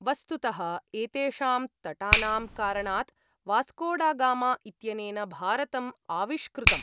वस्तुतः एतेषाम् तटानां कारणात् वास्कोडागामा इत्यनेन भारतम् आविष्कृतम्।